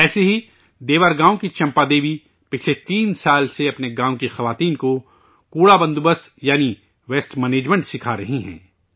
ایسے ہی ، دیور گاوں کی چمپادیوی پچھلے تین سال سے اپنے گاؤں کی خواتین کو کوڑے کے بندوبست ، یعنی ، ویسٹ مینجمنٹ سکھا رہی ہیں